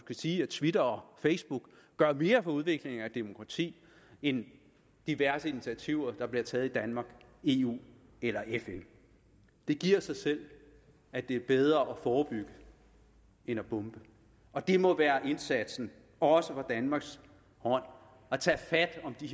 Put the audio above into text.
sige at twitter og facebook gør mere for udviklingen af demokrati end diverse initiativer der bliver taget i danmark eu eller fn det giver sig selv at det er bedre at forebygge end at bombe og det må være indsatsen også fra danmarks hånd at tage fat om de